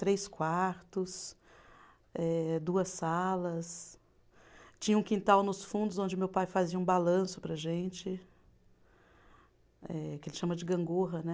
Três quartos, eh duas salas, tinha um quintal nos fundos onde meu pai fazia um balanço para a gente, eh que ele chama de gangorra, né?